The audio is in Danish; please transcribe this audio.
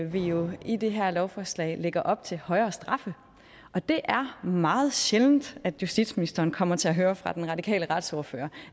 vi jo i det her lovforslag lægger op til højere straffe og det er meget sjældent at justitsministeren kommer til at høre fra den radikale retsordfører